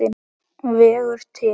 vegur til.